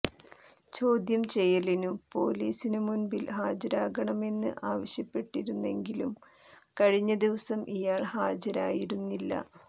ചോദ്യം ചെയ്യലിനു പൊലീസിനു മുൻപിൽ ഹാജരാകണമെന്ന് ആവശ്യപ്പെട്ടിരുന്നെങ്കിലും കഴിഞ്ഞദിവസം ഇയാൾ ഹാജരായിരുന്നില്ല